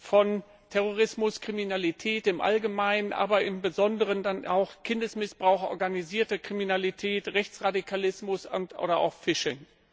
von Terrorismus, Kriminalität im Allgemeinen, aber im Besonderen Kindesmissbrauch, organisierte Kriminalität, Rechtsradikalismus oder auch Phishing.